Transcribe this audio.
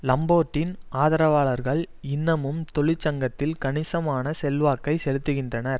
லம்பேர்ட்டின் ஆதரவாளர்கள் இன்னமும் தொழிற்சங்கத்தில் கணிசமான செல்வாக்கை செலுத்துகின்றனர்